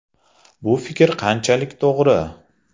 Bu fikr qanchalik to‘g‘ri?”.